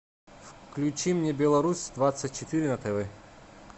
включи мне беларусь двадцать четыре на тв